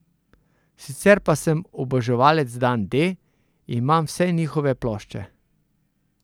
Sicer pa sem oboževalec Dan D, imam vse nihove plošče.